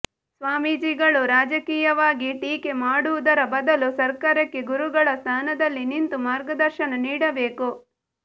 ಸ್ವಾಮೀಜಿಗಳು ರಾಜಕೀಯವಾಗಿ ಟೀಕೆ ಮಾಡುವುದರ ಬದಲು ಸರ್ಕಾರಕ್ಕೆ ಗುರುಗಳ ಸ್ಥಾನದಲ್ಲಿ ನಿಂತು ಮಾರ್ಗದರ್ಶನ ನೀಡಬೇಕು